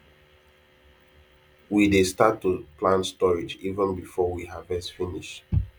we dey start to plan storage even before we harvest finish